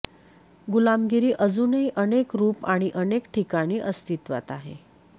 गुलामगिरी अजूनही अनेक रूप आणि अनेक ठिकाणी अस्तित्वात आहे